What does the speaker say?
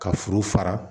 Ka furu fara